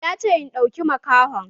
Ya ce "Ɗauki makahon"!